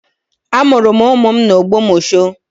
Amụrụ m ụmụ m n'Ogbomosho